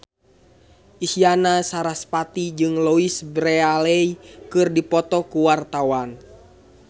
Isyana Sarasvati jeung Louise Brealey keur dipoto ku wartawan